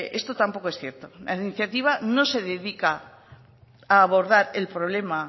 esto tampoco es cierto la iniciativa no se dedica a abordar el problema